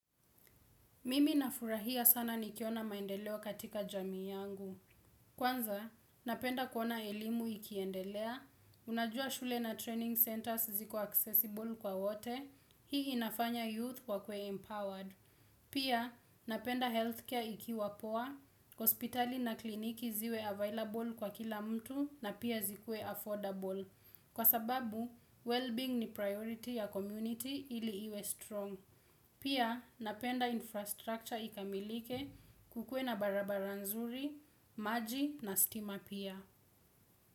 Mimi nafurahia sana nikiona maendeleo katika jamii yangu. Kwanza, napenda kuona elimu ikiendelea, unajua shule na training centers ziko accessible kwa wote, hii inafanya youth wakuwe empowered. Pia, napenda healthcare ikiwa poa, hospitali na kliniki ziwe available kwa kila mtu, na pia zikuwe affordable. Kwasababu, well-being ni priority ya community ili iwe strong. Pia napenda infrastructure ikamilike, kukue na barabara nzuri, maji na stima pia.